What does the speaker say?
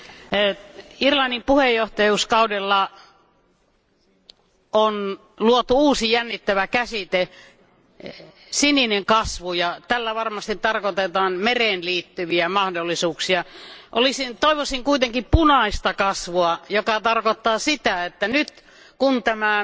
Arvoisa puhemies, Irlannin puheenjohtajuuskaudella on luotu uusi jännittävä käsite sininen kasvu. Tällä varmasti tarkoitetaan mereen liittyviä mahdollisuuksia. Toivoisin kuitenkin punaista kasvua, joka tarkoittaa sitä, että nyt kun tämä